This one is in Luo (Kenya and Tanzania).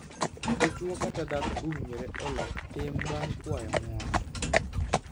Dichwo kata dhako owinjore olok tim bang' kwayo ng'uono.